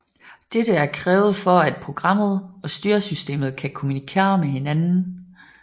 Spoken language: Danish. Dette er krævet for at programmet og styresystemet kan kommunikere med hinanden